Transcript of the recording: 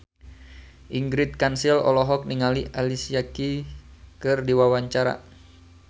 Ingrid Kansil olohok ningali Alicia Keys keur diwawancara